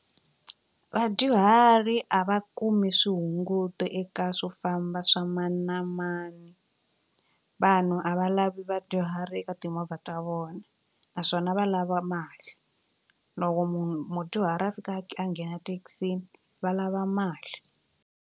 Vadyuhari a va kumi swihunguto eka swo famba swa mani na mani vanhu a va lavi vadyuhari eka timovha ta vona naswona va lava mali loko munhu mudyuhari a fika a nghena thekisini va lava mali.